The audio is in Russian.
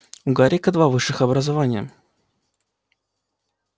у гарика два высших образования